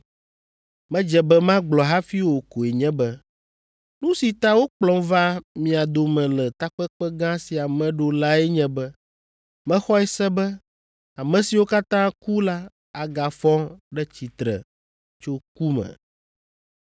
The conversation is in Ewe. medze be magblɔ hafi o koe nye be, ‘Nu si ta wokplɔm va mia dome le takpekpe gã sia me ɖo lae nye be mexɔe se be ame siwo katã ku la agafɔ ɖe tsitre tso ku me!’ ”